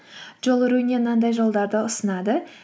мынандай жолдарды ұсынады